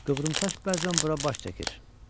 Qıvrımsaç bəzən bura baş çəkir.